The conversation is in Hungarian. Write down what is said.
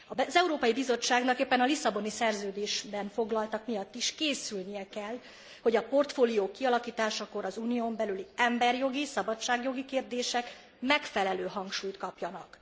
Az Európai Bizottságnak éppen a Lisszaboni Szerződésben foglaltak miatt is készülnie kell, hogy a portfóliók kialakításakor az Unión belüli emberjogi, szabadságjogi kérdések megfelelő hangsúlyt kapjanak.